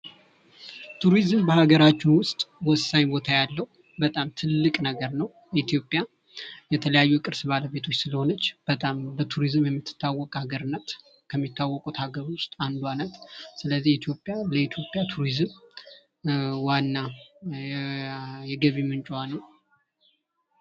ቱሪዝም በሀገራችን ውስጥ ወሳኝ ቦታ ያለው ፣ በጣም ትልቅ ነገር ነው ። ኢትዮጵያ የተለያዩ ቅርስ ባለቤቶች ስለሆነች በጣም በቱሪዝም የምትታወቅ ሀገር ናት ። የሚታወቁት ሀገር ውስጥ አንዷ ናት ። ስለዚህ ለኢትዮጵያ ቱሪዝም ዋና የገቢ ምንጯ ነው ።